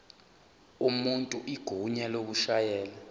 umuntu igunya lokushayela